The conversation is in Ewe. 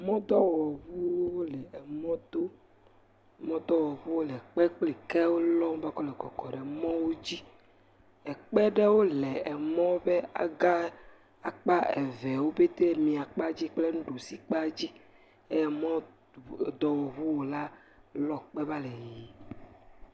Mɔdowɔŋuwo le mɔto. Mɔdɔwɔŋuwo le kpe kple kewo lɔm ekɔ le kɔkɔm ɖe mɔdowo dzi. Ekpe aɖewo le emɔ ƒe aga akpa evewo pɛtɛ. Mia kpadzi kple enuɖusi kpa dzi. Emɔdɔwɔŋuwɔla lɔ ekpe va le yiyim.